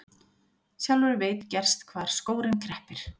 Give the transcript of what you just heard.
Sjálfur veit gerst hvar skórinn kreppir.